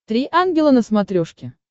три ангела на смотрешке